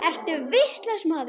Ertu vitlaus maður?